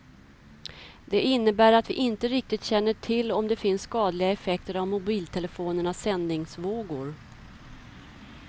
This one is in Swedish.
Det innebär att vi inte riktigt känner till om det finns skadliga effekter av mobiltelefonernas sändningsvågor.